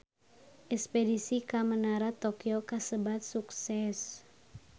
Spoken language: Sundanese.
Espedisi ka Menara Tokyo kasebat sukses